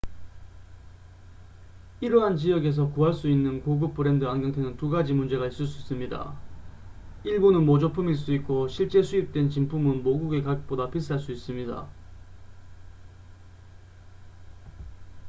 이러한 지역에서 구할 수 있는 고급 브랜드 안경테는 두 가지 문제가 있을 수 있습니다 일부는 모조품일 수 있고 실제 수입된 진품은 모국의 가격보다 비쌀 수 있습니다